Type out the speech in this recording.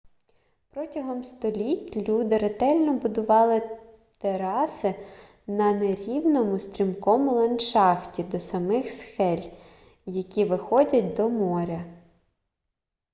протягом століть люди ретельно будували тераси на нерівному стрімкому ландшафті до самих скель які виходять до моря